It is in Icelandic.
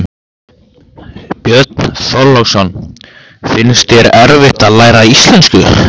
Björn Þorláksson: Finnst þér erfitt að læra íslensku?